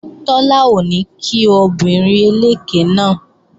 Tọ́lá ò ní kí obìnrin eléké náà